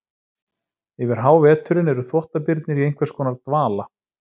Yfir háveturinn eru þvottabirnir í einhvers konar dvala.